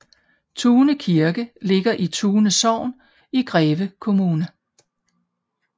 Tune Kirke ligger i Tune Sogn i Greve Kommune